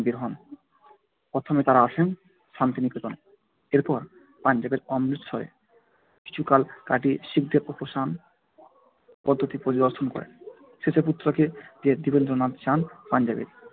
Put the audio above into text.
প্রথমে তারা আসেন শান্তিনিকেতন। এরপর পাঞ্জাবের অমৃতসরে কিছুকাল কাটিয়ে শিখদের উপাসনা পদ্ধতি পরিদর্শন করেন। শেষে পুত্রকে নিয়ে দেবেন্দ্রনাথ যান পাঞ্জাবে